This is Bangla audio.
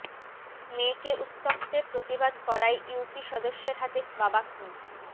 মেয়েকে উত্ত্যক্তের প্রতিবাদ করায় ইউপি সদস্যের হাতে বাবা খুন